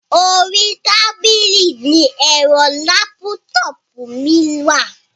Orí tábìlì ní ẹ̀rọ lápútọpù mi wà.